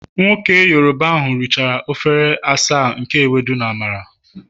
Nwoke Yoruba ahu richara efere asaa nke Ewedu na Amala